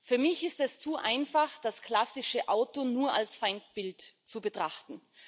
Für mich ist es zu einfach, das klassische Auto nur als Feindbild zu betrachten.